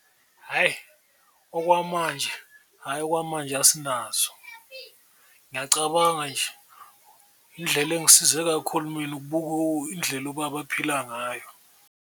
Hhayi okwamanje, hhayi okwamanje asinazo, ngiyacabanga nje indlela engisize kakhulu mina ukubuka indlela ubaba aphila ngayo.